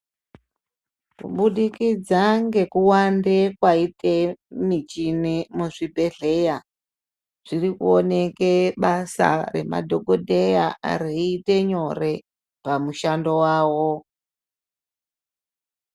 Kubudikidza ngekuwande kwaite michini muzvibhedhlera, zviri kuoneke basa remadhokodheya reiite nyore, pamushando wawo.